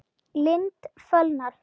Lind fölnar.